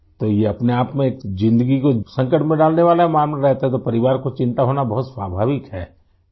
تو، یہ اپنے آپ میں ایک زندگی کو مشکل میں ڈالنے والا معاملہ رہتا ہے تو کنبے کو فکر لاحق ہونا بہت فطری ہے